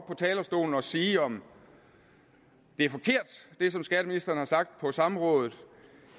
talerstolen og sige om det som skatteministeren har sagt på samrådet